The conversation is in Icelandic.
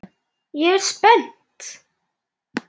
Ég er spennt.